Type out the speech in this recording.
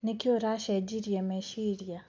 Nĩkĩ ũracejirie meciria.